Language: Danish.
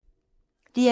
DR2